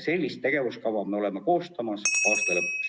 Sellise tegevuskava me koostame aasta lõpuks.